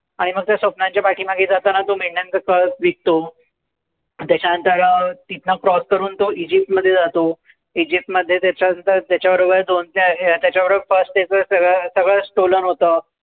आणि मग त्या स्वप्नांच्या पाठीमागे जाताना तो मेंढ्यांचा कळप विकतो. त्याच्यानंतर तिथनं cross करून तो इजिप्त मध्ये जातो. इजिप्तमध्ये त्याच्यानंतर त्याच्याबरोबर दोन चार त्याच्याबरोबर cross करून सगळं सगळं stolen होतं.